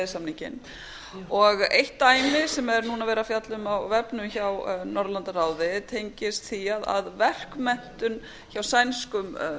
e s samninginn eitt dæmið sem er núna verið að fjalla um á vefnum hjá norðurlandaráði tengist því að verkmenntun hjá sænskum